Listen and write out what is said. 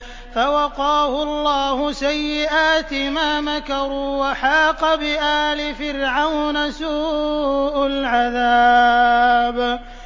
فَوَقَاهُ اللَّهُ سَيِّئَاتِ مَا مَكَرُوا ۖ وَحَاقَ بِآلِ فِرْعَوْنَ سُوءُ الْعَذَابِ